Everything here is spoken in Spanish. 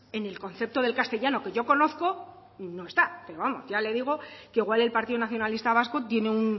en el concepto del castellanos que yo conozco no está pero vamos ya le digo que igual el partido nacionalista vasco tiene un